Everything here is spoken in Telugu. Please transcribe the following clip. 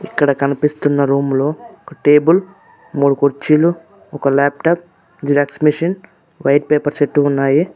ఇక్కడ కనిపిస్తున్న రూమ్ లో ఒక టేబుల్ మూడు కుర్చీలు ఒక laptop Xerox machine white papers set ఉన్నాయి.